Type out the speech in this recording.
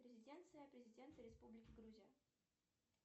резиденция президента республики грузия